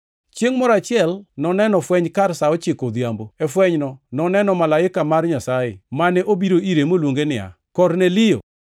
Chiengʼ moro achiel noneno fweny kar sa ochiko odhiambo. E fwenyno noneno malaika mar Nyasaye, mane obiro ire moluonge niya, “Kornelio!”